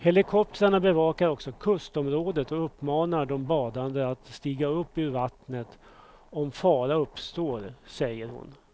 Helikoptrarna bevakar också kustområdet och uppmanar de badande att stiga upp ur vattnet om fara uppstår, säger hon.